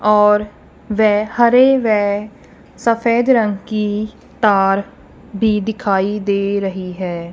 और वे हरे व सफेद रंग की तार भी दिखाई दे रही है।